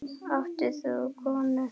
Átt þú konu?